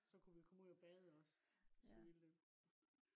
så kunne vi komme ud og bade også. hvis vi ville det